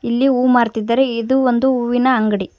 ಇಲ್ಲಿ ಹೂ ಮಾರ್ತ್ತಿದ್ದಾರೆ ಇದು ಒಂದು ಹೂವಿನ ಅಂಗಡಿ.